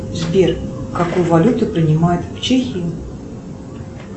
сбер какую валюту принимают в чехии